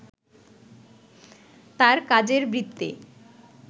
তার কাজের বৃত্তে